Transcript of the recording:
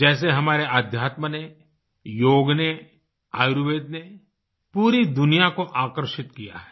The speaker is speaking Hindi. जैसे हमारे आध्यात्म ने योग ने आयुर्वेद ने पूरी दुनिया को आकर्षित किया है